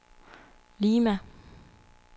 Lima